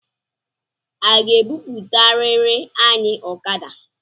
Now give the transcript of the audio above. Ọ ga-ebuputarirị anyị okada?